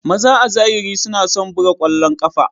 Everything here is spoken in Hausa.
Maza a zahiri suna son buga ƙwallon ƙafa.